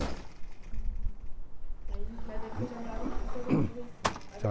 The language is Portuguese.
Uhum, aí, mas aí você já morava com esses seus amigos?